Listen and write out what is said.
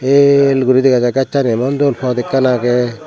el guri degajai gassani emon dol pot ekkan aagey.